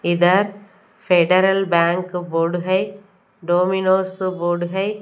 इधर Federal Bank board है Domino's board है।